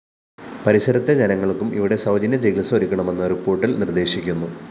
പരിസരത്തെ ജനങ്ങള്‍ക്കും ഇവിടെ സൗജന്യ ചികിത്സ ഒരുക്കണമെന്ന് റിപ്പോര്‍ട്ടില്‍ നിര്‍ദ്ദേശിക്കുന്നു